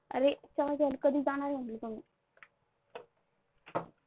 अरे एक कप चहा घ्यायला कधी जाणार आहे म्हटलं तुम्ही?